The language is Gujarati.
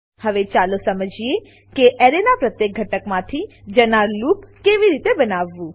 હવે ચાલો સમજીએ કે એરેનાં પ્રત્યેક ઘટકમાંથી જનાર લૂપ કેવી રીતે બનાવાય